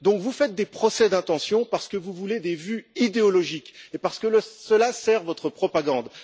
Vous faites donc des procès d'intention parce que vous voulez des vues idéologiques et parce que cela sert votre propagande.